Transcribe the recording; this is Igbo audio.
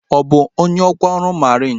Ọ bụ onye ọkwa ọrụ mariin?